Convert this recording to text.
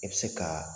I bɛ se ka